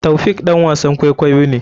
Taofiq ɗan wasan kwaikwayo ne.